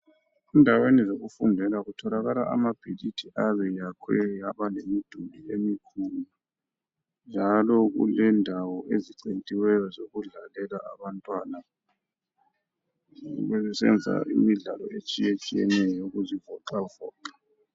Endaweni zokufundela kutholakala amabhilidi ayabe yakhwe abalemiduli emikhulu njalo kulendawo ezicentiweni zokudlalela abantwana nxa besenza imidlalo etshiyatshiyeneyo ukuzivoxavoxa.